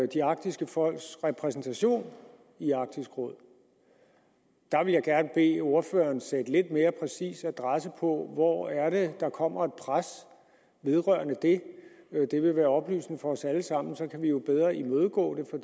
de arktiske folks repræsentation i arktisk råd der vil jeg gerne bede ordføreren sætte lidt mere præcis adresse på hvor er det der kommer et pres vedrørende det det vil være oplysende for os alle sammen og så kan vi jo bedre imødegå det